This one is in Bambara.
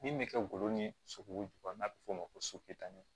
Min bɛ kɛ golo ni sogow jukɔrɔ n'a bɛ f'o ma ko